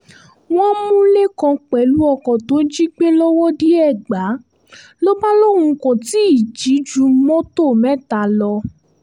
wọ́n mú lẹ́kàn pẹ̀lú ọkọ̀ tó jí gbé lọ́wọ́de-ègbà ló bá lóun kò tí ì jí ju mọ́tò mẹ́ta lọ